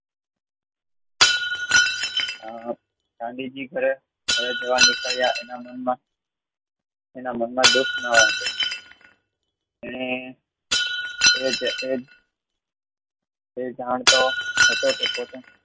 ગાંધીજી કહે ઘરે જાવા નીકળ્ય એના મનમાં દુઃખ ન હતું એને એજ એ જાણતો હતો કે